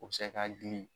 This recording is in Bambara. O bɛ se k'a gili